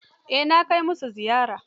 Eh na kai musu ziyara.